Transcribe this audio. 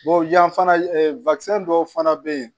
yan fana dɔw fana bɛ yen